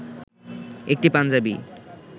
একটি পাঞ্জাবি